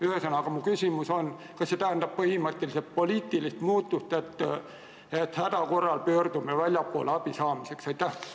Ühesõnaga, mu küsimus on, kas see tähendab põhimõtteliselt poliitilist muutust, et häda korral pöördume abi saamiseks väljapoole.